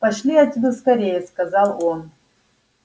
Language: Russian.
пошли отсюда скорее сказал он